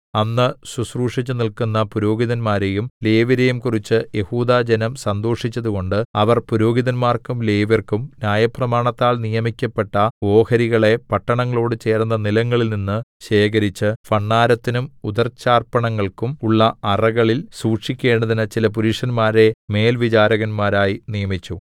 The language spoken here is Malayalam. അന്ന് ശുശ്രൂഷിച്ചു നില്ക്കുന്ന പുരോഹിതന്മാരെയും ലേവ്യരെയും കുറിച്ച് യെഹൂദാജനം സന്തോഷിച്ചതുകൊണ്ട് അവർ പുരോഹിതന്മാർക്കും ലേവ്യർക്കും ന്യായപ്രമാണത്താൽ നിയമിക്കപ്പെട്ട ഓഹരികളെ പട്ടണങ്ങളോട് ചേർന്ന നിലങ്ങളിൽനിന്ന് ശേഖരിച്ച് ഭണ്ഡാരത്തിനും ഉദർച്ചാർപ്പണങ്ങൾക്കും ഉള്ള അറകളിൽ സൂക്ഷിക്കേണ്ടതിന് ചില പുരുഷന്മാരെ മേൽവിചാരകന്മാരായി നിയമിച്ചു